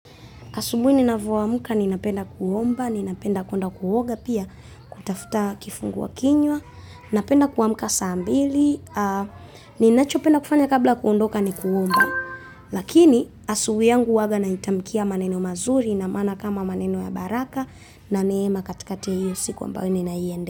Asubuhi ninavoamka ninapenda kuomba, ninapenda kwenda kuoga pia, kutafuta kifungua kinywa napenda kuamka saa mbili ninachopenda kufanya kabla ya kuondoka ni kuomba lakini asubuh yangu huwaga na itamkia maneno mazuri na maana kama maneno ya baraka na neema katikati ya hiyo siku ambao ninaiendea.